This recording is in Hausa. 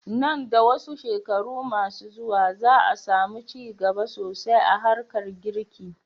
Nan da wasu shekaru ma su zuwa, za a samu ci gaba sosai a harkar girki.